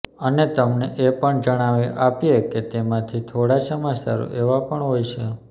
અને તમને એ પણ જણાવી આપીએ કે તે માંથી થોડા સમાચારો એવા પણ હોય છે